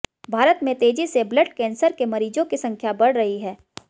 भारत में तेजी से ब्लड कैंसर के मरीजों की संख्या बढ़ रही है